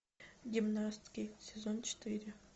гимнастки сезон четыре